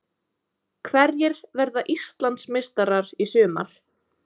Hverjir verða Íslandsmeistarar í sumar?